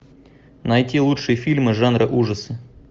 найти лучшие фильмы жанра ужасы